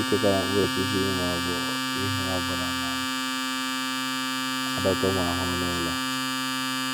Echekwala mkpụrụ osisi ma ọ bụ ihe ọ bụla na - adọta ụmụ ahụhụ n’ụlọ.